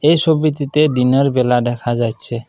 এই ছবিটিতে দিনের বেলা দেখা যাইচ্ছে ।